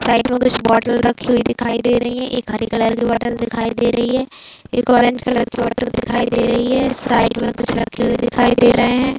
Side मे कुछ बोतल रखी हुई दिखाई दे रही है एक हरे कलर की बोतल दिखाई दे रही है एक ऑरेंज कलर की बोतल दिखाई दे रही है साइड मे कुछ रखे हुए दिखाई दे रहे है।